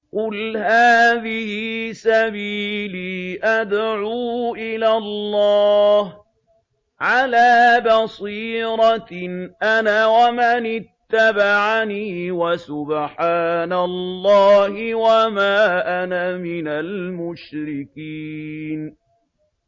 قُلْ هَٰذِهِ سَبِيلِي أَدْعُو إِلَى اللَّهِ ۚ عَلَىٰ بَصِيرَةٍ أَنَا وَمَنِ اتَّبَعَنِي ۖ وَسُبْحَانَ اللَّهِ وَمَا أَنَا مِنَ الْمُشْرِكِينَ